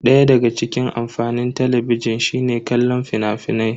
Daya daga cikin amfanin Talabijin shine kallon fina-finai.